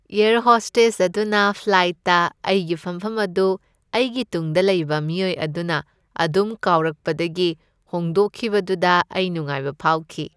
Air hostess ꯑꯗꯨꯅ ꯐ꯭ꯂꯥꯏꯠꯇ ꯑꯩꯒꯤ ꯐꯝꯐꯝ ꯑꯗꯨ ꯑꯩꯒꯤ ꯇꯨꯡꯗ ꯂꯩꯕ ꯃꯤꯑꯣꯏ ꯑꯗꯨꯅ ꯑꯗꯨꯝ ꯀꯥꯎꯔꯛꯄꯗꯒꯤ ꯍꯣꯡꯗꯣꯛꯈꯤꯕꯗꯨꯗ ꯑꯩ ꯅꯨꯡꯉꯥꯏꯕ ꯐꯥꯎꯈꯤ꯫